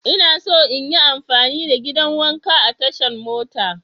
Ina so in yi amfani da gidan wanka a tashan mota.